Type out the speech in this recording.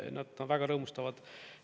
Nad väga rõõmustavad.